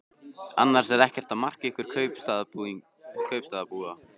Annars er ekkert að marka ykkur kaupstaðarbúa.